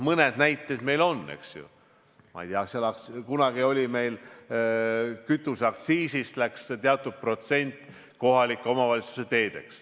Mõned näited meil on, eks ju, kunagi meil kütuseaktsiisist läks teatud protsent kohalike omavalitsuste teedele.